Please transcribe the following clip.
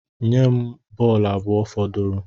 Nye m bọọlụ abụọ fọdụrụnụ